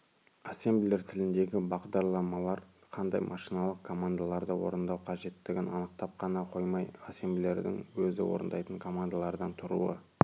ассемблер тіліндегі бағдарламалар қандай машиналық командаларды орындау қажеттігін анықтап қана қоймай ассемблердің өзі орындайтын командалардан тұруы